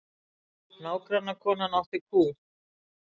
Nágrannakonan átti kú.